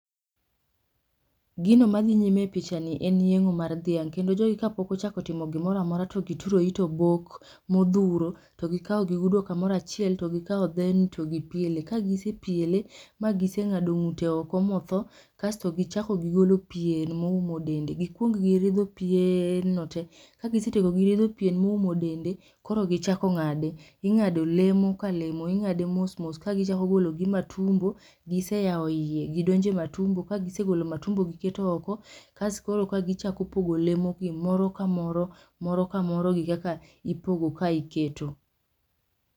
Gino madhi nyime e pichani en yeng'o mar dhiang', kendo jogi kapok ochako timo gimora amora to gituro it obok, modhuro to gikaw gigudo kamoro achiel to gikaw dheni to gipiele. Kagisepiele ma giseng'ado ng'ute oko motho kasto gichako gigolo pien moumo dende, gikwong giridho pieeeen no te, kagisetieko ridho pien moumo dende koro gichako ng'ade. Ing'ado lemo ka lemo, ing'ade mos mos ka gichako golo gi matumbo, giseyaw iye gidonje matumbo, ka gisegolo matumbo giketo oko, kas koro ka gichako pogo leo gi moro ka moro, moro kamoro gi kaka ipogo kae iketo